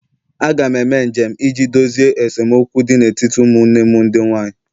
Aga m eme njem iji dozie esemokwu dị n'etiti ụmụnne m ndị nwanyị